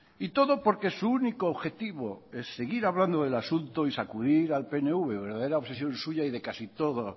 y todo porque su único objetivo es seguir hablando del asunto y sacudir al pnv verdadera obsesión suya y de casi todo